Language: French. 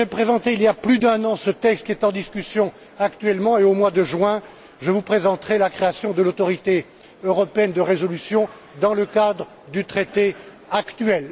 Je vous ai présenté il y a plus d'un an ce texte qui est en discussion actuellement et, au mois de juin, je vous présenterai la création de l'autorité européenne de résolution dans le cadre du traité actuel.